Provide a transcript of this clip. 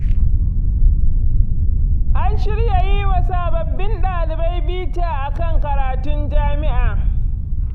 An shirya yi wa sababbin ɗalibai bita a kan karatun jami'a.